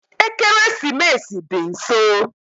Ekeresimesi dị nso